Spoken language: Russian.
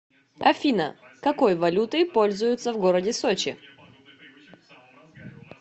афина какой валютой пользуются в городе сочи